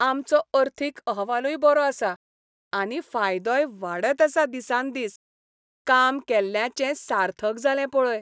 आमचो अर्थीक अहवालूय बरो आसा, आनी फायदोय वाडत आसा दिसान दीस. काम केल्ल्याचें सार्थक जालें पळय.